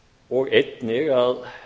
og einnig að